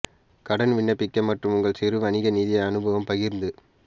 கடன் விண்ணப்பிக்க மற்றும் உங்கள் சிறு வணிக நிதி அனுபவம் பகிர்ந்து